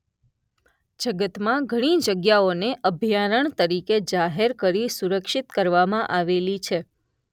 જગતમાં ઘણી જગ્યાઓને અભયારણ્ય તરીકે જાહેર કરી સુરક્ષિત કરવામાં આવેલી છે.